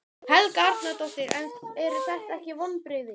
Helga Arnardóttir: En eru þetta ekki vonbrigði?